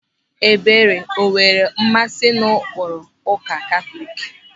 Ebere o nwere mmasị n'ụkpụrụ ụka Katọlik?